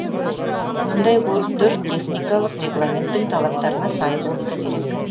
мұндай көліктер техникалық регламенттің талаптарына сай болуы керек